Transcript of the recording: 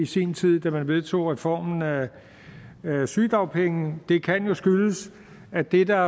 sin tid da man vedtog reformen af sygedagpengene det kan jo skyldes at det der